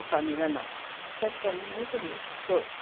família não, sempre fomos muito unidos, todos.